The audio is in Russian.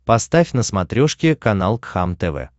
поставь на смотрешке канал кхлм тв